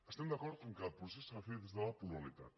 estem d’acord que el procés s’ha de fer des de la pluralitat